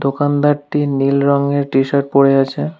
দোকানদারটি নীল রঙের টি-শার্ট পড়ে আছে।